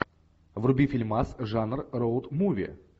вруби фильмас жанр роуд муви